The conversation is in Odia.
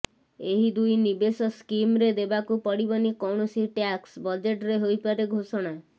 ଏହି ଦୁଇ ନିବେଶ ସ୍କିମରେ ଦେବାକୁ ପଡିବନି କୌଣସି ଟ୍ୟାକ୍ସ ବଜେଟରେ ହୋଇପାରେ ଘୋଷଣା